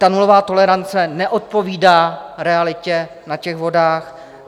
Ta nulová tolerance neodpovídá realitě na těch vodách.